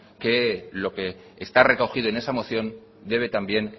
que lo que está recogido en esa moción debe también